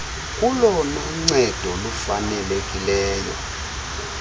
kolona ncedo lufanelekileyo